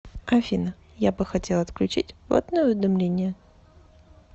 афина я бы хотел отключить платное уведомление